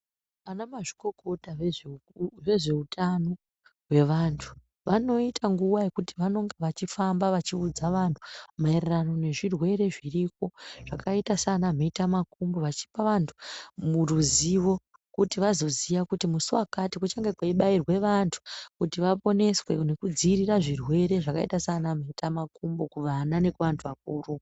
Anamazvikokota vezveutano hwevantu vanoita nguwa yekuti vanonga vachifamba vachiudza vanhu maererano nezvirwere zviriko, zvakaita sanamhetamakumbo vachipa vantu ruzivo kuti vazoziya kuti musi wakati kuchange kweibairwa vantu kuti vaponeswe nekudziirira zvirwere zvakaita sanamhetamakumbo kuvana nekuvantu vakuru.